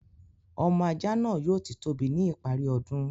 Ọmọ ajá náà yóò ti tóbi ní ìparí ọdún.